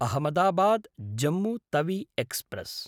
अहमदाबाद्–जम्मु Tawi express